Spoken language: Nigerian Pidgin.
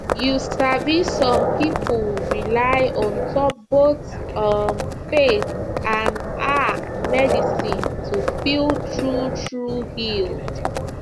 you sabi some pipo rely on top both um faith and ah medicine to feel true true healed